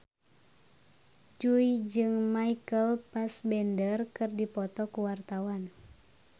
Jui jeung Michael Fassbender keur dipoto ku wartawan